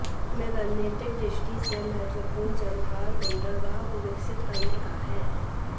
इसमें रणनीतिक दृष्टि से महत्वपूर्ण चाबहार बंदरगाह को विकसित करने का है